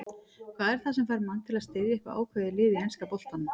Hvað er það sem fær mann til að styðja eitthvað ákveðið lið í enska boltanum?